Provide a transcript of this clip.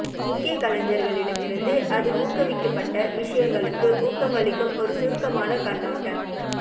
முக்கிய கலைஞர்களிடமிருந்து அது ஊக்குவிக்கப்பட்ட விஷயங்களுக்கு ஊக்கமளிக்கும் ஒரு சுருக்கமான கண்ணோட்டம்